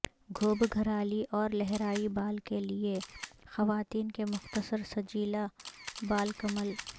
گھوبگھرالی اور لہرائی بال کے لئے خواتین کے مختصر سجیلا بالکمل